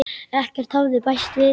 Ekkert hafði bæst við.